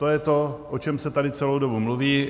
To je to, o čem se tady celou dobu mluví.